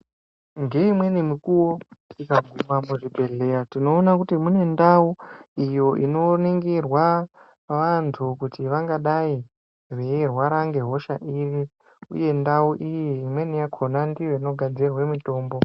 Ngeimweni mikuwo tikaguma pachibhedhleya tinoona kuti kune ndau iyo inoningirwa vantu kuti vangadai veirwara ngehosha iri uye ndau iyi imweni yakhona ndiyo inogadzirirwe mitombo.